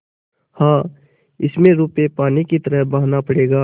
हाँ इसमें रुपये पानी की तरह बहाना पड़ेगा